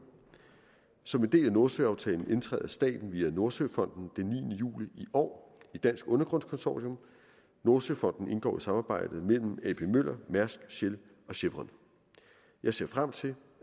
som en del af nordsøaftalen indtræder staten via nordsøfonden den niende juli i år i dansk undergrunds consortium nordsøfonden indgår i samarbejdet mellem ap møller mærsk shell og chevron jeg ser frem til